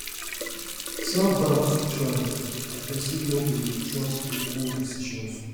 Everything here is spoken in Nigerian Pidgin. selfdoubt fit rise and pesin no go dey trust im own decisions